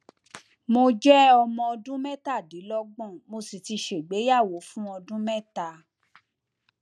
mo jẹ ọmọ ọdún mẹtàdínlọgbọn mo sì ti ṣègbéyàwó fún ọdún mẹta